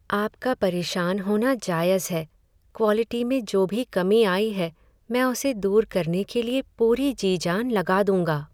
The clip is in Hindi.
आपका परेशान होना जायज़ है, क्वालिटी में जो भी कमी आई है, मैं उसे दूर करने के लिए पूरी जी जान लगा दूँगा।